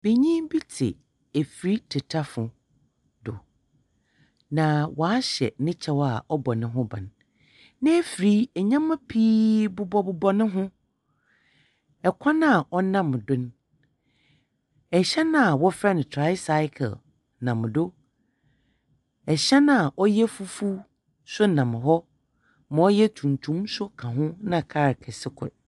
Benyin bi tse efir tetafo bi do. Na ɔahyɛ ne kyɛw a ɔbɔ noho bam. N'efir yi, ndzɛmba pii bobɔbobɔ no ho. Kwan a ɔnam do no. hyɛn a wɔfrɛ no tricycle nam do. Hyɛn a ɔyɛ fufuw nso nam hɔ. Ma ɔyɛ tuntum nso ka ho, na kaal kɛse kor.